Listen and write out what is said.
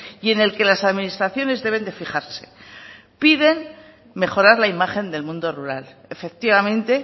y en el que las administraciones deben de fijarse piden mejorar la imagen del mundo rural efectivamente